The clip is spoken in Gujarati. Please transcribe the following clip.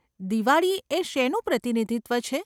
દિવાળી એ શેનું પ્રતિનિધિત્વ છે?